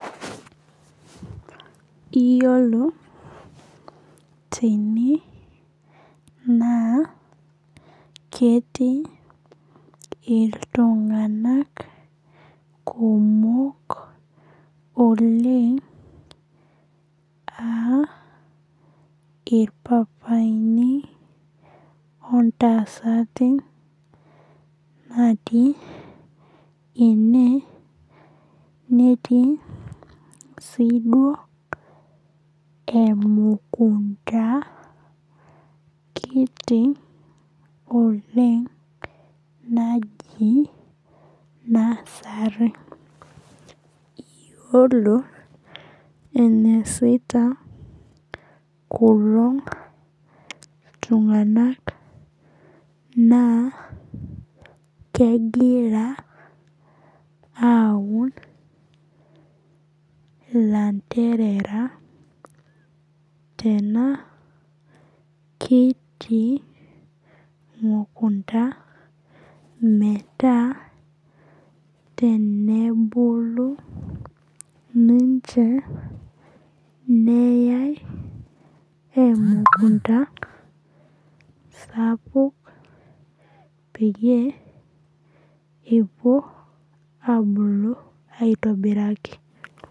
Iyiolo, tene naa ketii iltung'anak kumok oleng' aa ilpapaini o intasati natii ene netii sii duao emukunta kiti oleng' najii nursery . Iyiolo eneasita kulo tung'ana naa kegira aun ilanterera tena kiti mukunta, metaa tenebulu ninche neyai emukunta sapuk peyie epuo abulu aitobiraki.